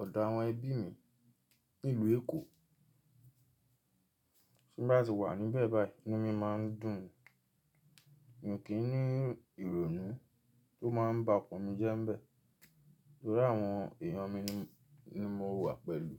ọ̀dọ̀ àwọn ẹbí mi nílùú Èkó. Ti m bá ti wà níbẹ̀ báyìí inu mí máa ń dùn. Mi kì í ní ìrònú tó máa ń ba ọkan mi jẹ́ ń bẹ̀, torí àwọn èèyàn mi ni mo wà pẹ̀lú.